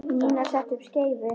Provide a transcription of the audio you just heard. Nína setti upp skeifu.